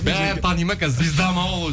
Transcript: бәрі таниды ма қазір звезда ма ол